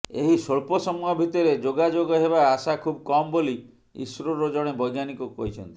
ଏହି ସ୍ବଳ୍ପ ସମୟ ଭିତରେ ଯୋଗାଯୋଗ ହେବା ଆଶା ଖୁବ୍ କମ୍ ବୋଲି ଇସ୍ରୋର ଜଣେ ବୈଜ୍ଞାନିକ କହିଛନ୍ତି